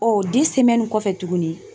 Ɔ kɔfɛ tuguni